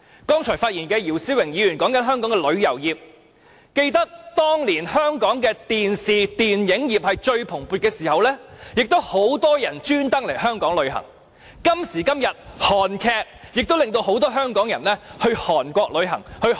剛才發言的姚思榮議員提及香港的旅遊業，記得當年香港電視、電影業最蓬勃的時候，很多旅客會刻意來港旅遊，正如今時今日的韓劇，亦促使很多香港人前往韓國旅遊、消費。